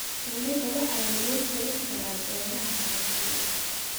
Shinnida waxaa lagu korin karaa beeraha cashew.